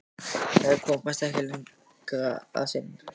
Þær komast ekki lengra að sinni.